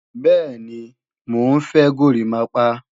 Bẹ́ẹ̀ni, mò ń fẹ́ górimápá